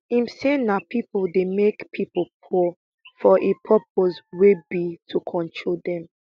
im say na pipo dey make pipo poor for a purpose wey be to control dem